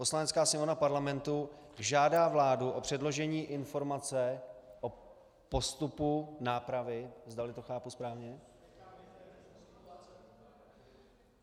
Poslanecká sněmovna Parlamentu žádá vládu o předložení informace o postupu nápravy, zdali to chápu správně.